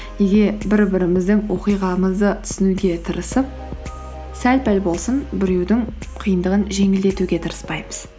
неге бір біріміздің оқиғамызды түсінуге тырысып сәл пәл болсын біреудің қиындығын жеңілдетуге тырыспаймыз